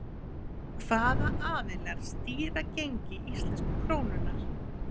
hvaða aðilar stýra gengi íslensku krónunnar